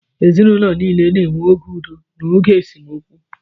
Ezinụlọ niile na-enwe oge udo na oge esemokwu